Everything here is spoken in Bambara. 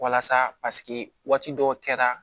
Walasa waati dɔw kɛra